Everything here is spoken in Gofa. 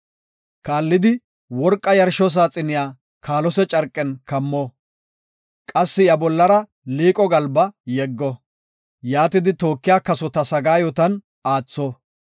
“Kaallidi worqa yarsho saaxiniya kaalose carqen kammo; qassi iya bollara liiqo galba yeggo. Yaatidi tookiya kasota sagaayotan aatho.